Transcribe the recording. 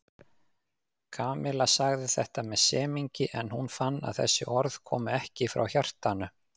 Kamilla sagði þetta með semingi en hún fann að þessi orð komu ekki frá hjartanu.